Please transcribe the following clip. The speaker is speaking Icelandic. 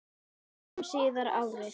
Níu árum síðar, árið